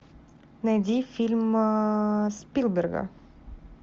найди фильм спилберга